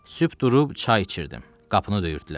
Sübh durub çay içirdim, qapını döyürdülər.